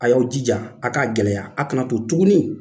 A y'aw jija a k'a gɛlɛya a kana to tuguni